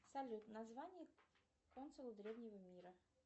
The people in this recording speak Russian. салют название древнего мира